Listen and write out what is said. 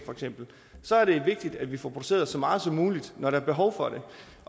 så er det vigtigt at vi får produceret så meget som muligt når der er behov for det